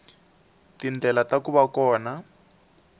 tindlela ta ku va kona